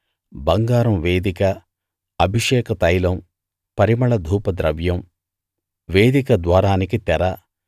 బంగారం వేదిక అభిషేక తైలం పరిమళ ధూప ద్రవ్యం వేదిక ద్వారానికి తెర